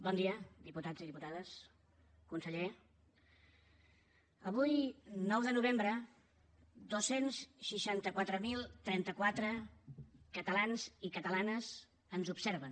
bon dia diputats i diputades conseller avui nou de novembre dos cents i seixanta quatre mil trenta quatre catalans i catalanes ens observen